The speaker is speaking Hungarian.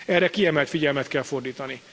Erre kiemelt figyelmet kell fordítani.